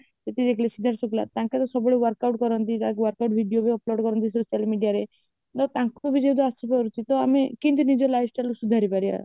ତାଙ୍କର ସବୁବେଳେ workout କରନ୍ତି ଯାହା workout video ବି upload କରନ୍ତି social mediaରେ ତାଙ୍କୁ ବି ଯଦି ଆସିପାରୁଛି ତ ଆମେ କେମିତି ନିଜ lifestyle କୁ ସୁଧାରି ପାରିବ